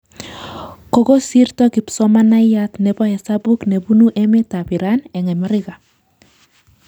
Kokosirto kipsomaniat nebo hesabuk ne bunu emet ab iran eng' Ameriga